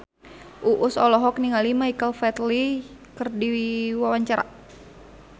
Uus olohok ningali Michael Flatley keur diwawancara